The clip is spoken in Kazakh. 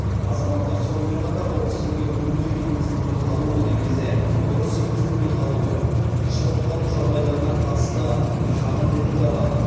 азаматтар сонымен қатар ол тізімге мүлде енгізілмей қалуы немесе дұрыс енгізілмей қалуы шығып қалу жағдайларына қатысты шағым білдіре алады